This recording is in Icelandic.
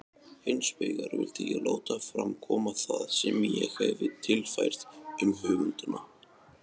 Hinsvegar vildi ég láta fram koma það sem ég hefi tilfært um höfundana.